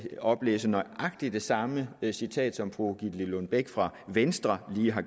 oplæse nøjagtig det samme citat som fru gitte lillelund bech fra venstre lige har